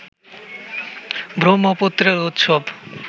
ব্রহ্মপুত্রের উৎস